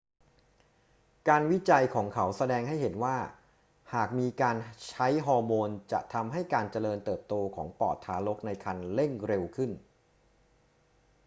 การวิจัยของเขาแสดงให้เห็นว่าหากมีการใช้ฮอร์โมนจะทำให้การเจริญเติบโตของปอดทารกในครรภ์เร่งเร็วขึ้น